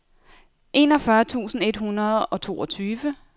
enogfyrre tusind et hundrede og toogtyve